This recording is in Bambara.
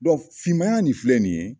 finmaya nin filɛ nin ye